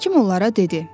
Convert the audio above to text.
Hakim onlara dedi: